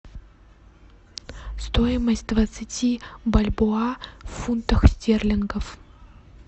стоимость двадцати бальбоа в фунтах стерлингов